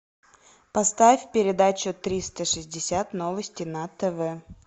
поставь передачу триста шестьдесят новости на тв